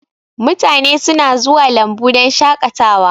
Mutane suna zuwa lambu don shakatawa